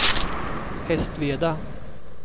Hästveda